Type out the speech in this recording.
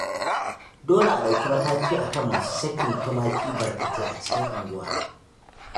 Dole a ɗauki mataki a kan masu sakin tumaki barkatai a cikin unguwa